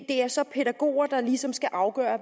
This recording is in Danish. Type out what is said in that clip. det er så pædagoger der ligesom skal afgøre